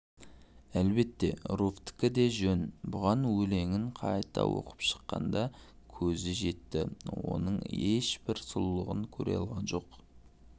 әлбетте руфьтікі де жөн бұған - өлеңін қайта оқып шыққанда көзі жетті оның ешбір сұлулығын көре алған жоқ